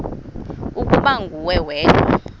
ukuba nguwe wedwa